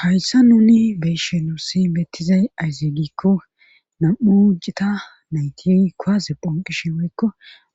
Hayssa nuni beyshenussi beettizay ayzegikko nam'u cita nayti koaze phanqishin woykko